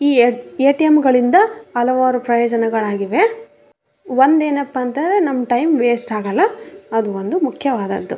ಈ ಎ ಏ.ಟಿ.ಎಮ್. ಗಳಿಂದ ಹಲವಾರು ಪ್ರಯೋಜನಗಳಾಗಿವೇ ಒಂದೇನಪ್ಪ ಅಂತಂದ್ರೆ ನಮ್ ಟೈಮ್ ಏಸ್ಟ್ ಆಗಲ್ಲ ಅದೊಂದು ಮುಖ್ಯವಾದದ್ದು.